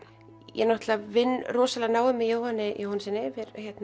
ég náttúrulega vinn rosalega náið með Jóhanni Jóhannssyni við